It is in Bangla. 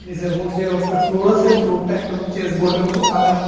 নিসের মধ্যে ওর একটা ফ্লোর আছে ফ্লোরটা একদম চেজবোর্ডের মতন কালার ।